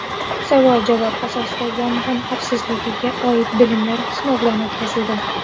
Savol-javob asosida yong‘in xavfsizligiga oid bilimlar sinovdan o‘tkazildi.